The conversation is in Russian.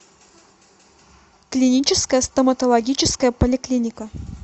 клиническая стоматологическая поликлиника